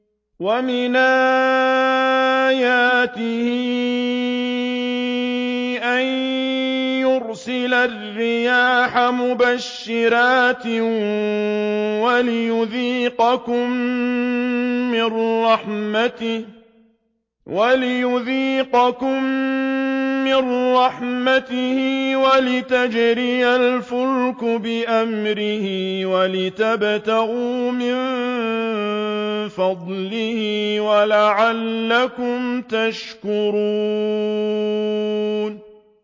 وَمِنْ آيَاتِهِ أَن يُرْسِلَ الرِّيَاحَ مُبَشِّرَاتٍ وَلِيُذِيقَكُم مِّن رَّحْمَتِهِ وَلِتَجْرِيَ الْفُلْكُ بِأَمْرِهِ وَلِتَبْتَغُوا مِن فَضْلِهِ وَلَعَلَّكُمْ تَشْكُرُونَ